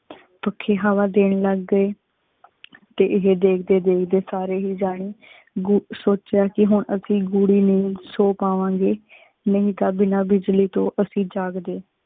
ਪੱਖੇ ਹਵਾ ਦੇਣ ਲਗ ਗਏ ਏਹੇ ਦੇਖਦੇ ਦੇਖਦੇ ਸਾਰੀ ਹੀ ਜਾਣੇ ਸੋਚ੍ਯਾ ਕੀ ਹੁਣ ਅਸੀਂ ਗੂੜੀ ਨੀਂਦ ਸੋ ਪਾਵਾਂਗੇ ਨਹੀ ਤਾਂ ਬਿਨਾ ਬਿਜਲੀ ਤੋਂ ਅਸੀਂ ਜਾਗਦੇ।